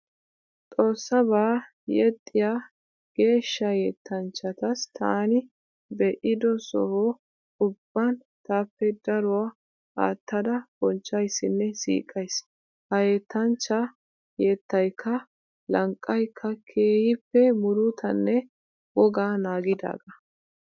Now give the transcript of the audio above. Xoosabaa yexxiyaa geeshsha yettanchats taani be'ido Soho ubban taappe daruwaa aattada bonchchaysnne siiqays. Ha yettanchaa yettaykka lanqqaykka keehiippe murutanne wogaa naagidaagaa.